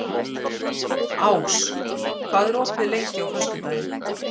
Ás, hvað er opið lengi á föstudaginn?